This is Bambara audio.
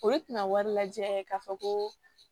O ye tina wari lajɛ k'a fɔ ko